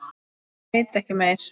En ég veit ekki meir.